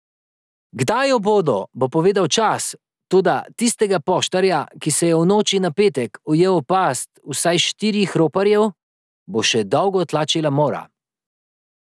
Kdaj jo bodo, bo povedal čas, toda tistega poštarja, ki se je v noči na petek ujel v past vsaj štirih roparjev, bo še dolgo tlačila mora.